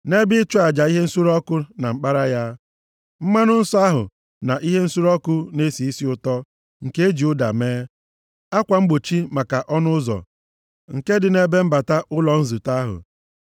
nʼebe ịchụ aja ihe nsure ọkụ na mkpara ya. Mmanụ nsọ ahụ na ihe nsure ọkụ na-esi isi ụtọ nke e ji ụda mee; akwa mgbochi maka ọnụ ụzọ nke dị nʼebe mbata ụlọ nzute ahụ;